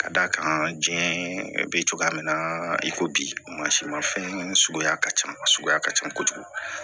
Ka d'a kan diɲɛ bɛ cogoya min na i ko bi mansinmafɛn suguya ka ca suguya ka ca kojugu